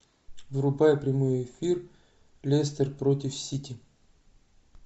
врубай прямой эфир лестер против сити